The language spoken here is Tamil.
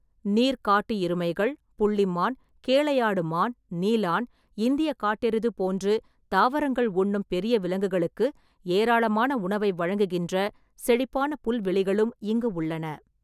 நீர் காட்டு எருமைகள், புள்ளி மான், கேளையாடு மான், நீலான், இந்தியக் காட்டெருது போன்று தாவரங்கள் உண்ணும் பெரிய விலங்குகளுக்கு ஏராளமான உணவை வழங்குகின்ற செழிப்பான புல்வெளிகளும் இங்கு உள்ளன.